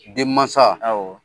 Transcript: Den mansa; Awɔ.